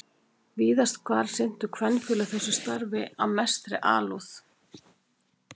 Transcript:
Víðast hvar sinntu kvenfélög þessu starfi af mestri alúð.